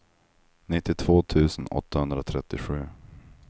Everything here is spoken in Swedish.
nittiotvå tusen åttahundratrettiosju